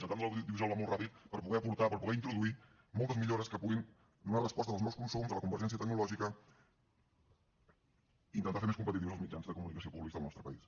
el camp de l’audiovisual va molt ràpid per poder aportar per poder introduir moltes millores que puguin donar resposta als nous consums a la convergència tecnològica i intentar fer més competitius els mitjans de comunicació públics del nostre país